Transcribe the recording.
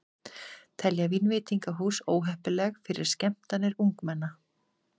Telja vínveitingahús óheppileg fyrir skemmtanir ungmenna